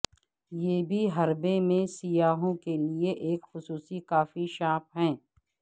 یہ بھی حربے میں سیاحوں کے لیے ایک خصوصی کافی شاپ ہے